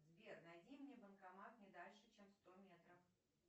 сбер найди мне банкомат не дальше чем сто метров